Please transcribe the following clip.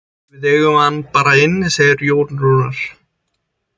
Við eigum hann bara inni, segir Jón Rúnar.